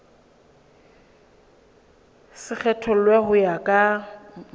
se kgethollwe ho ya ka